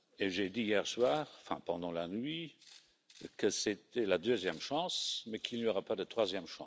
J'ai dit hier soir, ou pendant la nuit, que c'était la deuxième chance, mais qu'il n'y en aura pas une troisième.